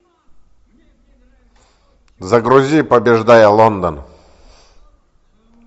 загрузи побеждая лондон